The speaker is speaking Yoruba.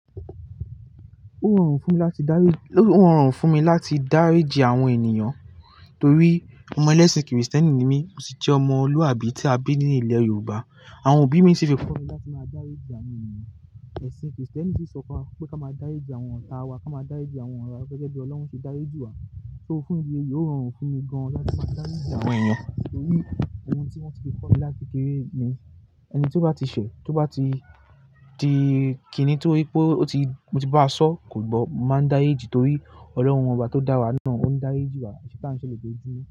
Ó rọrùn fún mi láti dáriji, ó rọrùn fún mi láti dáríjì àwọn ènìyàn torí ọmọ ẹlẹ́sìn kìrìsìtẹ́nì ni mí, mó sì jẹ́ ọmọluàbí tí a bí ní ilẹ̀ Yorùbá. Àwọn òbí mi sì fi kọ́ mi láti máa dáríjì àwọn ènìyàn. Ẹ̀sìn kìrìsìtẹ́nì sì sọ fún wa pé ká máa dáríjì àwọn ọ̀tá wa, ká máa dáríjì àwọn ọ̀rẹ́ wá gẹ́gẹ́ bí Ọlọ́run ṣe dáríjì wá. So fún ìdí èyíi, ó rọrùn fún mi gan láti máa dáríjì àwọn ènìyàn torí ohun tí wọ́n ti fi kọ́ mi láti kékeré ni ẹni tí ó bá ti ṣẹ̀, tí ó bá ti, ti kìní torí pé ó ti, mo ti bá a sọ kò gbọ́, mo máa ń dáríjì torí ọlọ́run oba tó dá wa náà ó ń dáríjì wá, eṣe ta n se lojoojumo?